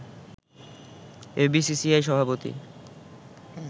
FBCCI সভাপতি